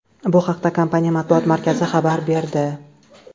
Bu haqda kompaniya matbuot markazi xabar berdi .